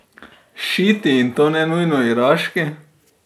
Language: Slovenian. Šiiti, in to ne nujno iraški.